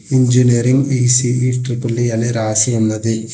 Engineering ECE triple E అని రాసి ఉన్నది.